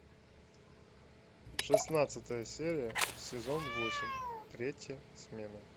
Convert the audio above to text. шестнадцатая серия сезон восемь третья смена